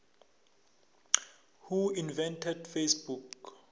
who invented facebook